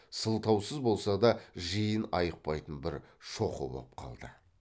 сылтаусыз болса да жиын айықпайтын бір шоқы боп қалды